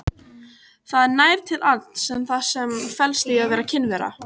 Það nær til alls þess sem felst í að vera kynvera.